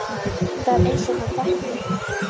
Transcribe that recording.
Það er einsog hann þekki þig